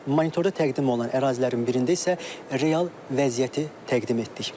Monitorda təqdim olunan ərazilərin birində isə real vəziyyəti təqdim etdik.